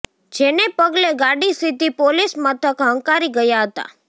જેને પગલે ગાડી સીધી પોલીસ મથક હંકારી ગયા હતા